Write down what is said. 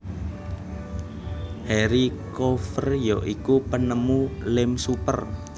Harry Coover ya iku penemu lem super